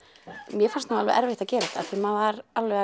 mér fannst erfitt að gera þetta því maður var alveg